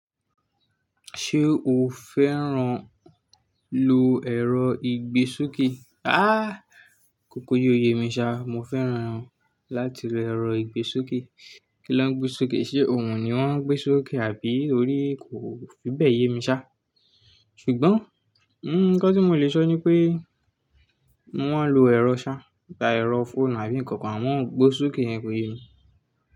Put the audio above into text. Ṣé o fẹ́ràn lo ẹ̀rọ ìgbésokè? Há! Kòkó yi o yèmi ṣá, mo fẹ́ràn láti lo ẹ̀rọ ìgbésokè. Kí lọ ń gbé sokè? Ṣé òun ni wọ́n ń gbé súkè àbí orí? Kò fi bẹ́ẹ̀ yè mi ṣá. Ṣùgbọ́n, nǹkan tí mo lè sọ ni pé wọ́n lo ẹ̀rọ ṣá, tà ẹ̀rọ fóònù àbí nǹkan kan, wọ́n n gbé sokè yẹn kọ̀ yé mi.